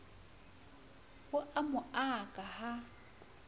o a mo aka ha